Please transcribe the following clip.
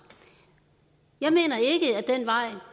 jeg mener ikke at den vej